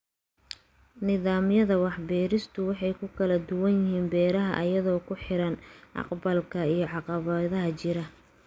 Nidaamyada wax-beeristu way ku kala duwan yihiin beeraha iyadoo ku xiran agabka iyo caqabadaha jira